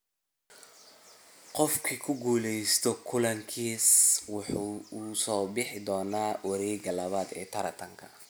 qofkii ku guuleysta kulankaas wuxuu u soo bixi doonaa wareegga labaad ee tartanka.